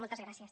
moltes gràcies